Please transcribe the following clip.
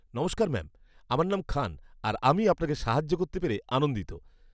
নমস্কার ম্যাম, আমার নাম খান আর আমি আপনাকে সাহায্য করতে পেরে আনন্দিত।